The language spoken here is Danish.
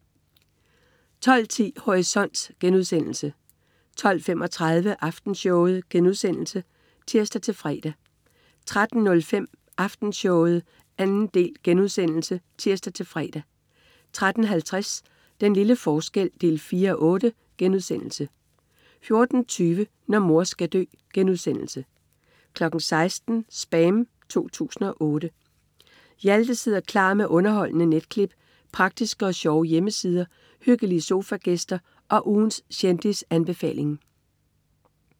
12.10 Horisont* 12.35 Aftenshowet* (tirs-fre) 13.05 Aftenshowet 2. del* (tirs-fre) 13.50 Den lille forskel 4:8* 14.20 Når mor skal dø* 16.00 SPAM 2008. Hjalte sidder klar med underholdende netklip, praktiske og sjove hjemmesider, hyggelige sofagæster og ugens kendisanbefaling